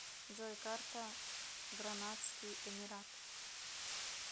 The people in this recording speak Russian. джой карта гранадский эмират